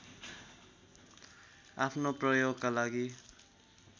आफ्नो प्रयोगका लागि